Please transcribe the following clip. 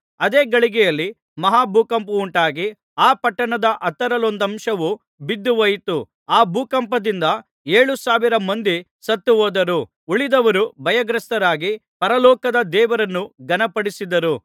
ಅದೇ ಗಳಿಗೆಯಲ್ಲಿ ಮಹಾ ಭೂಕಂಪವುಂಟಾಗಿ ಆ ಪಟ್ಟಣದ ಹತ್ತರಲ್ಲೊಂದಂಶವು ಬಿದ್ದುಹೋಯಿತು ಆ ಭೂಕಂಪದಿಂದ ಏಳು ಸಾವಿರ ಮಂದಿ ಸತ್ತು ಹೋದರು ಉಳಿದವರು ಭಯಗ್ರಸ್ತರಾಗಿ ಪರಲೋಕದ ದೇವರನ್ನು ಘನಪಡಿಸಿದರು